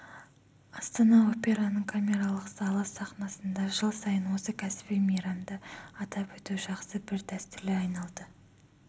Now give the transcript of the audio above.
астана операның камералық залы сахнасында жыл сайын осы кәсіби мейрамды атап өту жақсы бір дәстүрге айналды